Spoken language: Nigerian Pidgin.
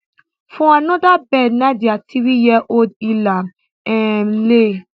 for anoda bed na dia threeyearold ilham um le